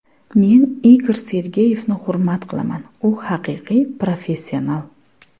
Men Igor Sergeyevni hurmat qilaman, u haqiqiy professional.